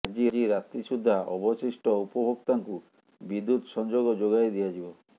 ଆଜି ରାତି ସୁଦ୍ଧା ଅବଶିଷ୍ଟ ଉପଭୋକ୍ତାଙ୍କୁ ବିଦୁ୍ୟତ୍ ସଂଯୋଗ ଯୋଗାଇ ଦିଆଯିବ